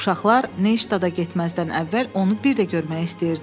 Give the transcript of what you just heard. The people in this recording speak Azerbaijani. Uşaqlar Neyştada getməzdən əvvəl onu bir də görməyə istəyirdilər.